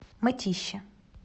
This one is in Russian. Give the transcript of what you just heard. мытищи